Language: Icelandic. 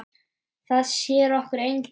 Það sér okkur enginn.